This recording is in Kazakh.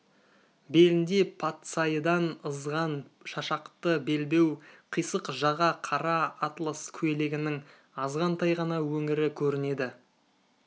белінде патсайыдан ызған шашақты белбеу қисық жаға қара атлас көйлегінің азғантай ғана өңірі көрінеді